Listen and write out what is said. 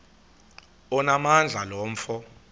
onamandla lo mfo